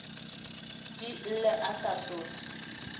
di lle e sa sohle